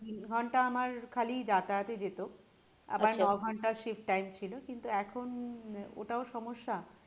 তিন ঘন্টা আমার খালি যাতায়াতে যেত আবার নঘন্টা shif time ছিল কিন্তু এখন ওটাও সমস্যা।